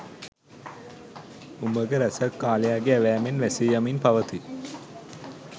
උමග රැසක් කාලයාගේ ඇවෑමයෙන් වැසී යමින් පවතී